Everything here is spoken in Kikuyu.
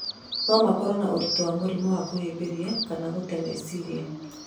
No makoro na ũrĩtũ wa mũrimũ wa kũhĩmbĩria kana gũtee meciria.